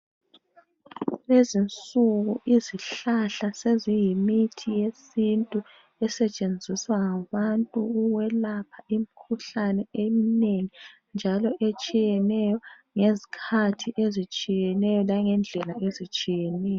Kulezinsuku izihlahla seziyimithi yesintu esetshenziswa ngabantu ukwelapha imikhuhlane eminengi njalo etshiyeneyo ngezikhathi ezitshiyeneyo langendlela ezitshiyeneyo.